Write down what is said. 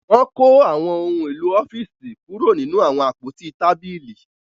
Wọn ko awọn ohùn èló ọfiisi kuro nínú awọn àpótí tábìlì